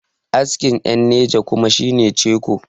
askin yan niger kuwa shi ne ciko